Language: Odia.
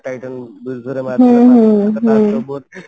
titan ବିରୁଦ୍ଧ ରେ ବାହାରିଥିଲା